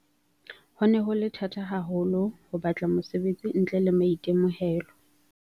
Ho ne ho le thata haho lo ho batla mosebetsi ntle le maitemohelo.